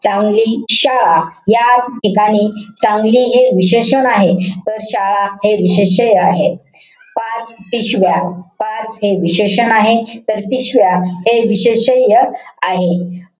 चांगली शाळा. या ठिकाणी चांगली हे विशेषण आहे. तर शाळा हे विशेष्य आहे. पाच पिशव्या. पाच हे विशेषण आहे. तर पिशव्या हे विशेष्य आहे.